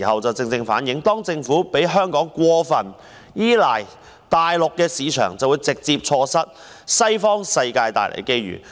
這正好反映政府讓香港過分依賴大陸市場，便會直接錯失西方世界帶來的機遇。